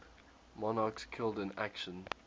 monarchs killed in action